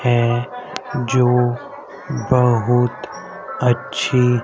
है जो बहुत अच्छी--